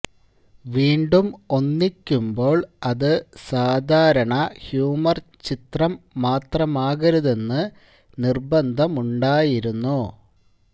വീണ്ടും ഒന്നിക്കുമ്പോള് അതു സാധാരണ ഹ്യൂമര് ചിത്രം മാത്രമാകരുതെന്ന് നിര്ബന്ധവുമുണ്ടായിരുന്നു